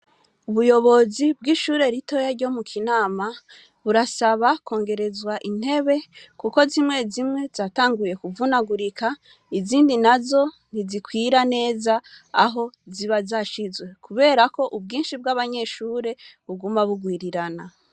Ubuyobozi bw'ishure ritoya ryo mu Kinama burasaba kongerezwa intebe kuko zimwe zimwe zatanguye kuvunagurika, izindi nazo ntizikwira neza aho ziba zashizwe, kubera ko ubwinshi bw'abanyeshure buguma bugwirirana.